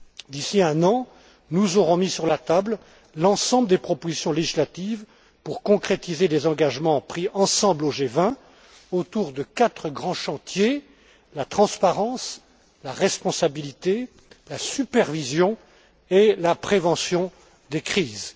D'ici un an, nous aurons mis sur la table l'ensemble des propositions législatives nécessaires pour concrétiser les engagements pris ensemble au G20, autour de quatre grands chantiers la transparence, la responsabilité, la supervision et la prévention des crises.